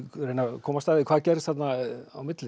komast að því hvað gerðist þarna á milli